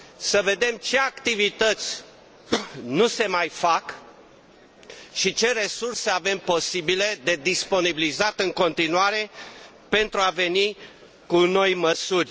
să vedem ce activități nu se mai fac și ce resurse avem posibile de disponibilizat în continuare pentru a veni cu noi măsuri.